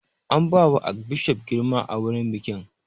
An ba wa arkbishof girma a wurin bikin